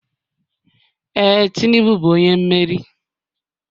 Ee, Tinubu bụ onye mmeri.